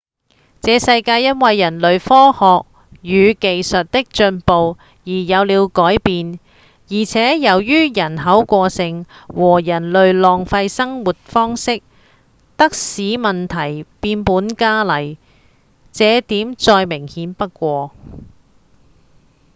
這世界因為人類科學與技術的進步而有了改變而且由於人口過剩和人類浪費的生活方式使得問題變本加厲這點再明顯不過